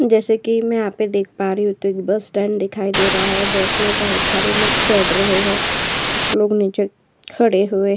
जैसे कि मैं यहाँ पे देख पा रही हूँ तो यहाँ एक बस स्टैंड दिखाई दे रहा है। बस में बहोत सारे लोग चढ़ रहे हैं। कुछ लोग नीचे खड़े हुए --